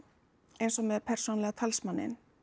eins og með persónulega talsmanninn